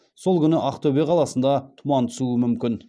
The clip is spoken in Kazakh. сол күні ақтөбе қаласында тұман түсуі мүмкін